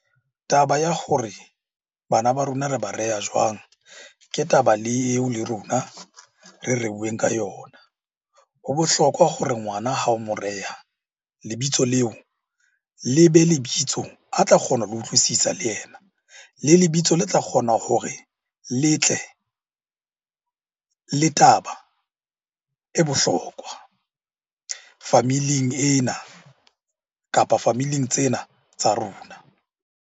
Taba ya hore bana ba rona re ba reha jwang? Ke taba le eo le rona re reuweng ka yona. Ho bohlokwa hore ngwana ha o mo reha, lebitso leo le be lebitso a tla kgona ho le utlwisisa le ena. Le lebitso le tla kgona hore le tle le taba e bohlokwa family-ing ena, kapa family-ing tsena tsa rona.